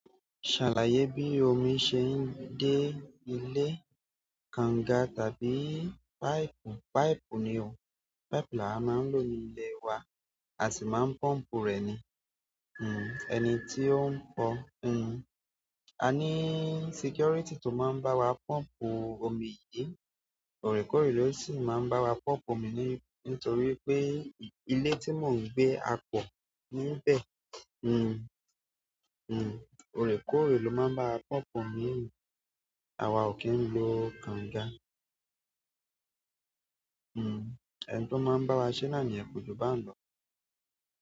Ṣàlàyé bí omi ṣe ń dé ilé, kanga tàbí pipe. Pipe ni o, pipe la máa ń lò ní ilé wa, a sì máa ń pọ́ǹpù rẹ̀ ni, hmmm, ẹni tí ó ń kọ, hmmm. A ní security tó máa ń bá wa pọ́ǹpù omi yìí, ọrẹ kóòrè ló sì máa ń bá wa pọ́ǹpù omi ní, nítorí pé ilé tí mò ń gbé a pọ̀ níbẹ̀, hmmm, hmmm. Ọrẹ kóòrè ló máa ń bá wa pọ́ǹpù omi, àwa ò kí ń lo kanga. Hmmm, ẹni tí ó máa ń bá wa ṣe náà ni yẹn ko ju ba ń lọ.